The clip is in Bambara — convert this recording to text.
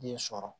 Den sɔrɔ